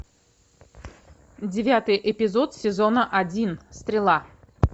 девятый эпизод сезона один стрела